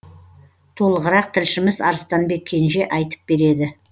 толығырақ тілшіміз арыстанбек кенже айтып береді